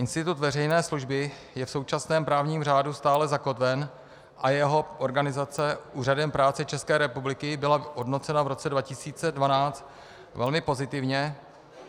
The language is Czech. Institut veřejné služby je v současném právním řádu stále zakotven a jeho organizace Úřadem práce České republiky byla hodnocena v roce 2012 velmi pozitivně.